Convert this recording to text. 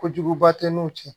Kojuguba tɛ n'u cɛ